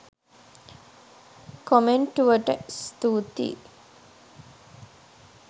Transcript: කොමෙන්ටුවට ස්තූතියි.